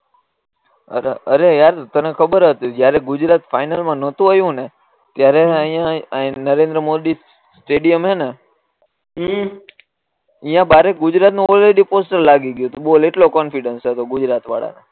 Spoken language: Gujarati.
અરે અરે અયાન તને ખબર હતી જયારે ગુજરાત ફાઈનલ મા નતુ આયુ ને ત્યારે અહિયાં અહી નરેન્દ્ર મોદી સ્ટેડીયમ હેને ઈ અહિયાં બહારે ગુજરાત પોસ્ટર લાગી ગયું બોલ એટલો કોન્ફીડંસ ગુજરાત વાળા